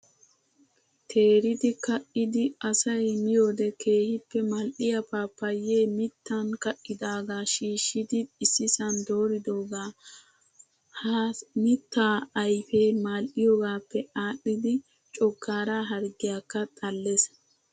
Teeridi ka''idi asayi miyoode keehippe mal''iyaa paappayee mittan ka'idaagaa shiishidi issisan dooridoogaa. Ha mittaa ayipee mal'iyoogaappe aadhdhidi coggaara harggiyaakka xalles.